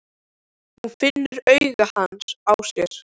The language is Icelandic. Hún finnur augu hans á sér.